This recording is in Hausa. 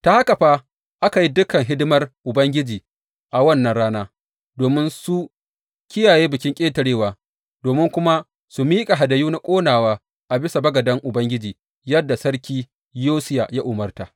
Ta haka fa aka yi dukan hidimar Ubangiji a wannan rana, domin su kiyaye Bikin Ƙetarewa, domin kuma su miƙa hadayu na ƙonawa a bisa bagaden Ubangiji, yadda sarki Yosiya ya umarta.